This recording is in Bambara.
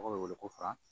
Mɔgɔw bɛ wele ko fara